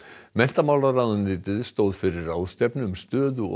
menntamálaráðuneytið stóð fyrir ráðstefnu um stöðu og